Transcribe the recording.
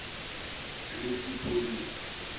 lesipholisa